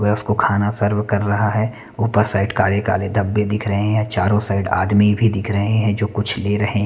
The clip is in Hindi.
मैं उसको खाना सर्व कर रहा है। ऊपर साइड काले काले धब्बे दिख रहे हैं चारों साइड आदमी भी दिख रहे हैं जो कुछ ले रहे हैं।